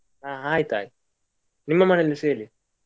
ಹಾ ಆಯ್ತಾಯ್ತು. ನಿಮ್ಮ ಮನೆಯಲ್ಲಿಸ ಹೇಳಿ.